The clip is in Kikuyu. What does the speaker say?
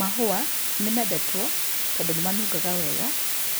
Mahũa nĩmendetwo tondũ nĩmanungaga wega